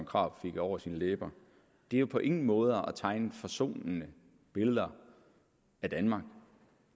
krarup fik over sine læber det er jo på ingen måde at tegne forsonende billeder af danmark